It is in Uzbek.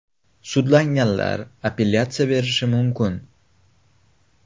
Sudlanganlar apellyatsiya berishi mumkin.